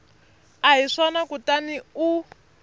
a hi swona kutani u